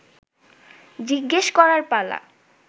জিজ্ঞেস করার পালা